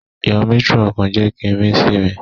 Yoo matron kan jẹ ki mi simi